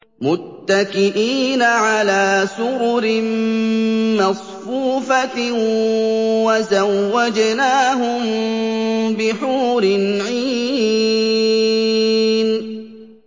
مُتَّكِئِينَ عَلَىٰ سُرُرٍ مَّصْفُوفَةٍ ۖ وَزَوَّجْنَاهُم بِحُورٍ عِينٍ